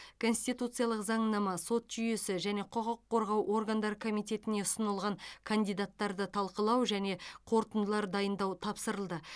конституциялық заңнама сот жүйесі және құқық қорғау органдары комитетіне ұсынылған кандидаттарды талқылау және қорытындылар дайындау тапсырылды